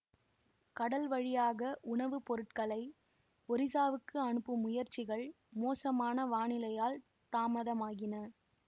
கடல்வழியாக உணவு பொருட்களை ஒரிசாவுக்கு அனுப்பும் முயற்சிகள் மோசமான வானிலையால் தாமதமாகின